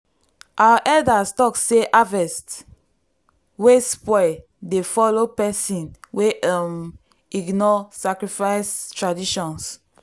our elders talk say harvest wey spoil dey follow person wey um ignore sacrifice traditions.